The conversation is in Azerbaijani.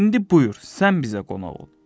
İndi buyur, sən bizə qonaq ol.